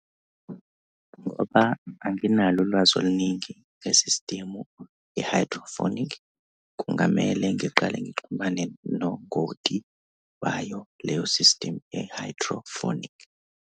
Ngoba anginalo ulwazi oluningi nge-system ye-hydroponic, kungamele ngiqale ngixhumane nongoti bayo leyo-system ye-hydroponic.